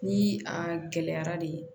Ni a gɛlɛyara de